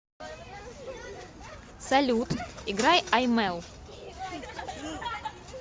салют играй аймэл